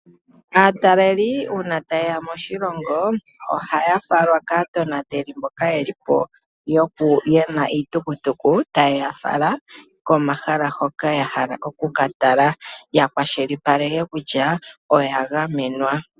Aatalelipo uuna taye ya moshilongo, ohaya falwa kaatonateli mboka ye li po ye na iitukutuku taye ya fala komahala hoka ya hala oku ka tala ya kwashilipaleke kutya oya gamenwa.